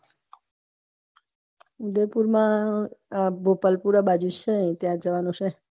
ઉદયપુર મા ગોપાલપુરા બાજુ છે ત્યાં જવાનું છે.